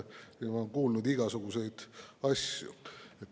Ma olen kuulnud igasuguseid asju.